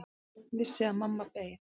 Vissi að mamma beið.